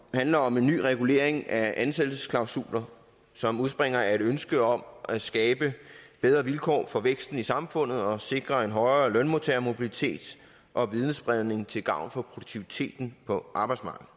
handler om en ny regulering af ansættelsesklausuler som udspringer af et ønske om at skabe bedre vilkår for væksten i samfundet og sikre en højere lønmodtagermobilitet og videnspredning til gavn for produktiviteten på arbejdsmarkedet